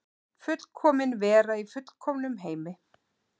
Fullkomin vera í fullkomnum heimi.